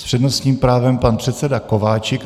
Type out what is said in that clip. S přednostním právem pan předseda Kováčik.